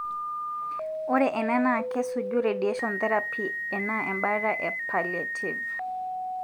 ore ena na kesuju radiation therapy ena embata e palliative.